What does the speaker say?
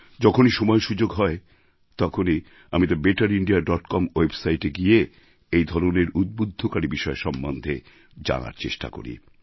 যখনই সময়সুযোগ হয় তখনই আমি the better India dot com ওয়েবসাইটে গিয়ে এই ধরনের উদ্বুদ্ধকারী বিষয় সম্বন্ধে জানার চেষ্টা করি